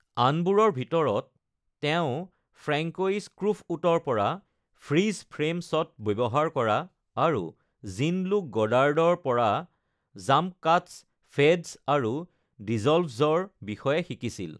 আনবোৰৰ ভিতৰত, তেওঁ ফ্ৰেঙ্ক'ইচ ত্ৰুফ'উটৰ পৰা ফ্ৰীজ ফ্ৰেম শ্বট ব্যৱহাৰ কৰা আৰু জিন-লুক গডাৰ্ডৰ পৰা জাম্প কাটছ, ফেডছ আৰু ডিচ'ল্ভছৰ বিষয়ে শিকিছিল।